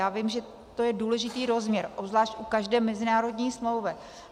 Já vím, že to je důležitý rozměr, obzvlášť u každé mezinárodní smlouvy.